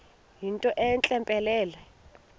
yinto entle mpelele